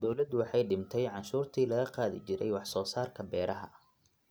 Dawladdu waxay dhimay cashuurtii laga qaadi jiray wax soo saarka beeraha.